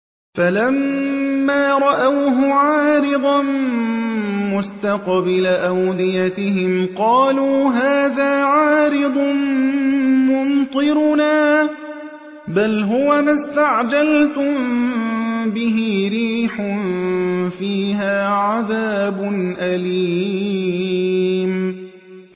فَلَمَّا رَأَوْهُ عَارِضًا مُّسْتَقْبِلَ أَوْدِيَتِهِمْ قَالُوا هَٰذَا عَارِضٌ مُّمْطِرُنَا ۚ بَلْ هُوَ مَا اسْتَعْجَلْتُم بِهِ ۖ رِيحٌ فِيهَا عَذَابٌ أَلِيمٌ